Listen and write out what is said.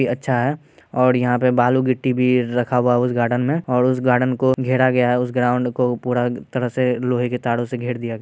ये अच्छा है यहाँ पे बालू गिट्टी भी रखा हुआ है उस गार्डन में और उस गार्डन को घेरा गया है और उस ग्राउंड को पुरा तरह से लोहे के तारो से घेर दिया गया--